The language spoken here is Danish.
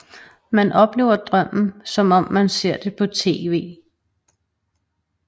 Man oplever drømmen som om man ser det på tv